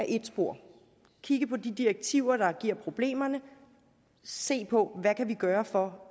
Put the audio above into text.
et spor kigge på de direktiver der giver problemerne se på hvad vi kan gøre for